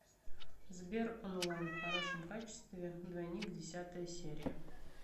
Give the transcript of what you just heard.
сбер онлайн в хорошем качестве двойник десятая серия